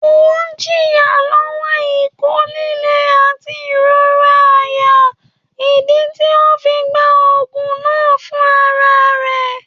Ọun ń jìyà lówò iko lílé àti ìrora àyà, ìdí tí ọ fí gbá òògùn náà fún àrà rẹ̀